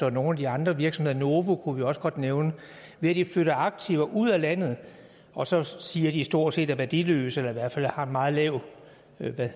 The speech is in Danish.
og nogle af de andre virksomheder novo kunne vi også godt nævne ved at de flytter aktiver ud af landet og så siger at de stort set er værdiløse eller i hvert fald har en meget lav